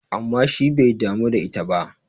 amma shi bai damu da ita ba!